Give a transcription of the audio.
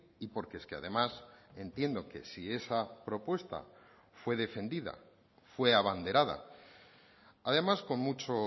y porque es que además entiendo que si esa propuesta fue defendida fue abanderada además con mucho